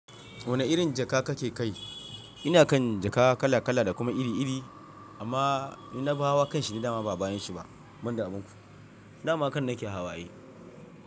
Wane irin jaka kake kai? Ina kan jaka kala kala da kuma iri iri, amma in na bawa kanshi ni dama ba bani shi ba. Banda a binku, dama kan nake hawa ai.